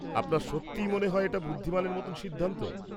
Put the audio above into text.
-আপনার সত্যি মনে হয় এটা বুদ্ধিমানের মতো সিদ্ধান্ত?